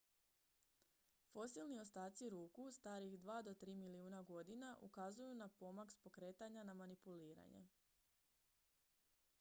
fosilni ostaci ruku starih dva do tri milijuna godina ukazuju na pomak s pokretanja na manipuliranje